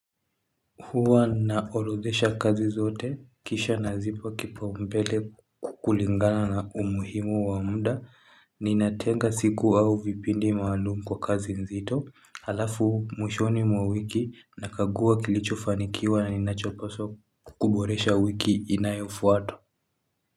Hua naorodhesha kazi zote, kisha nazipa kipaumbele kukulingana na umuhimu wa mda, ninatenga siku au vipindi maalum kwa kazi nzito, alafu mwishoni mwa wiki, nakagua kilicho fanikiwa na ninachopaswa ku kuboresha wiki inayofuata.